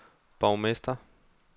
borgmester